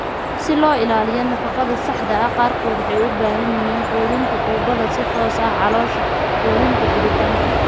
Si loo ilaaliyo nafaqada saxda ah, qaarkood waxay u baahan yihiin quudinta tuubada si toos ah caloosha (quudinta galitaanka).